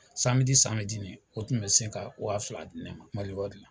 samedini o tun bɛ sin ka waa fila diya Mali wari la.